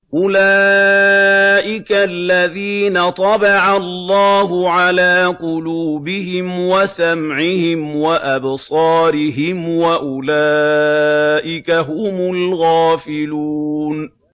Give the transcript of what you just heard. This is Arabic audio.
أُولَٰئِكَ الَّذِينَ طَبَعَ اللَّهُ عَلَىٰ قُلُوبِهِمْ وَسَمْعِهِمْ وَأَبْصَارِهِمْ ۖ وَأُولَٰئِكَ هُمُ الْغَافِلُونَ